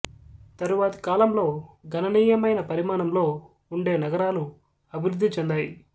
తరువాతి కాలంలో గణనీయమైన పరిమాణంలో ఉండే నగరాలు అభివృద్ధి చెందాయి